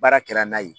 Baara kɛra n'a ye